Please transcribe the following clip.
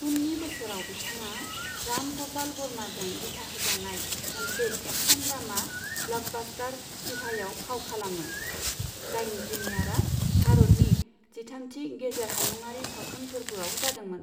उननि बोसोराव, बिथाङा राम ग'पाल बर्माजों दिथाहोजानाय मोनसे एक्शन ड्रामा ब्लकबास्टार शिभायाव फाव खालामो, जायनि प्रिमियारआ भारतनि जिथामथि गेजेर हायुंआरि सावथुन फोर्बोआव जादोंमोन।